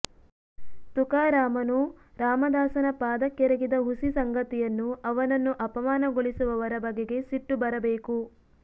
ತುಕಾರಾಮನು ರಾಮದಾಸನ ಪಾದಕ್ಕೆರಗಿದ ಹುಸಿ ಸಂಗತಿಯನ್ನು ಅವನನ್ನು ಅಪಮಾನಗೊಳಿಸುವವರ ಬಗೆಗೆ ಸಿಟ್ಟು ಬರಬೇಕು